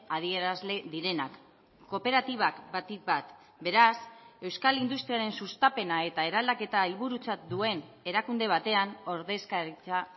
adierazle direnak kooperatibak batik bat beraz euskal industriaren sustapena eta eraldaketa helburutzat duen erakunde batean ordezkaritza